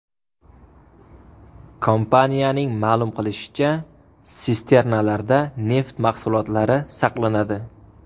Kompaniyaning ma’lum qilishicha, sisternalarda neft mahsulotlari saqlanadi.